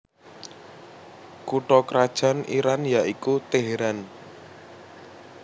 Kutha krajan Iran ya iku Teheran